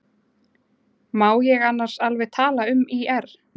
Má ég annars alveg tala um ÍR?